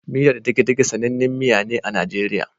Miyar degedege sanannin miya ne a Nigeria